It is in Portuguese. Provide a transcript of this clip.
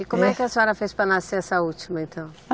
E como é que a senhora fez para nascer essa última, então?